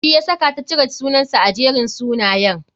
Shi yasaka ta cire sunansa a Jerin sunayen.